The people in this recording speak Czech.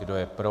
Kdo je pro?